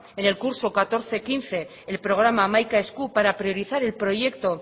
en el curso dos mil catorce dos mil quince el programa hamaika esku para priorizar el proyecto